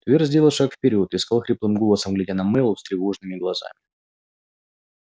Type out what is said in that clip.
твер сделал шаг вперёд и сказал хриплым голосом глядя на мэллоу встревоженными глазами